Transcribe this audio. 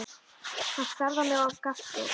Hann starði á mig og gapti.